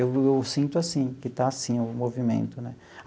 Eu sinto assim, que está assim o movimento, né?